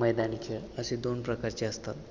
मैदानी खेळ असे दोन प्रकारचे असतात.